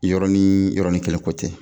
Yɔrɔnin yɔrɔnin kelen ko tɛ